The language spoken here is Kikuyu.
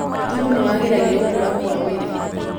Thumu nĩwagĩragia gũkũra kwa mĩrĩ